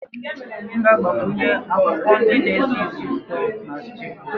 M ga-agbakwunye akwụkwọ ndị na-esi ísì ụtọ na stew